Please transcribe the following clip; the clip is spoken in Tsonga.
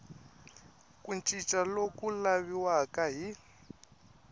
ku cinca loku laviwaka hi